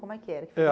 Como é que era? É